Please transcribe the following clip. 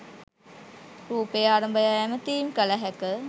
රුපය අරඹයා ඇමතීම් කල හැක